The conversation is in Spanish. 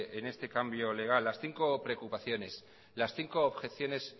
en este cambio legal las cinco preocupaciones las cinco objeciones